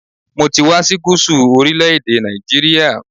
Mo ti wá sí Gúsù orílẹ̀-èdè Nàìjíríà